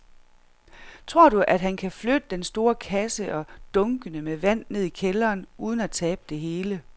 Tror du, at han kan flytte den store kasse og dunkene med vand ned i kælderen uden at tabe det hele?